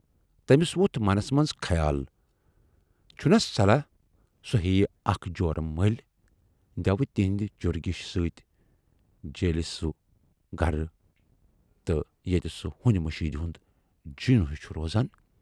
تمِٔس ووتھ منس منز خیال چھُناہ صلاح سُہ ہییہِ اکھ جوٗر مٔلۍ دٮ۪وٕ تِہٕندِ چُرۍگیُشہِ سٍتۍ جیٖلہِ تسُند گرٕ تہِ، ییتہِ سُہ ہُنۍ مٔشیٖد ہُند جِن ہیوٗ چھُ روزان۔